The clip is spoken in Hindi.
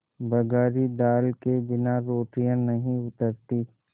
बघारी दाल के बिना रोटियाँ नहीं उतरतीं